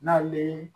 N'ale